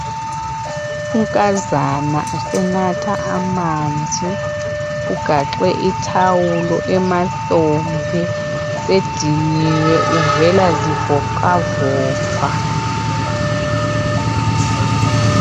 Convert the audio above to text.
Unkazana usenatha amanzi. Ugaxe ithawulo emahlombe. Sediniwe uvela zivoxavoxa.